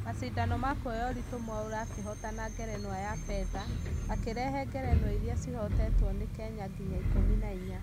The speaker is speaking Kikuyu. mashindano ma kũoya ũritũ mwaura agĩhotana ngerenwa ya fedha , akĩrehe ngerenwa iria cihotetwo nĩ kenya nginya ikũmi na inya